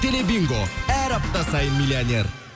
теле бинго әр апта сайын миллионер